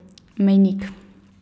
Mejnik.